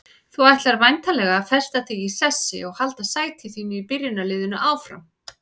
Þú ætlar væntanlega að festa þig í sessi og halda sæti þínu í byrjunarliðinu áfram?